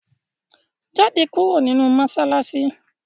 Jáde kúrò nínú mọ́ṣáláṣí!